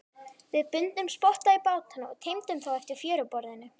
Við bundum spotta í bátana og teymdum þá eftir fjöruborðinu.